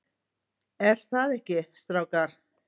ER ÞAÐ EKKI, STRÁKAR?